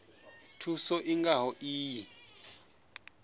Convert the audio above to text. thuso i nga ho iyi